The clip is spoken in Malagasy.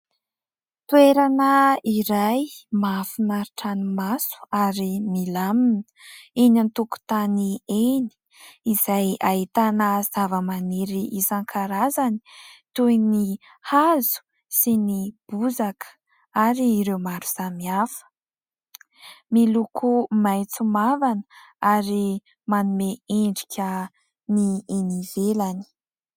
Toerana iray mahafinaritra ny maso ary milamina eny amin'ny tokontany eny, izay ahitana zava-maniry isan-karazany toy ny hazo sy ny bozaka ary ireo maro samihafa. Miloko maitso mavana ary manome endrika ny eny ivelany.